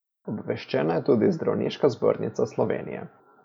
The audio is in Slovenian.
Obveščena je tudi Zdravniška zbornica Slovenije.